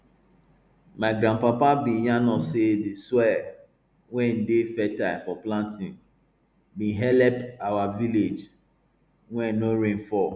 my grandpapa bin yarn us say di soil wey dey fertile for planting been helep our village wen no rain fall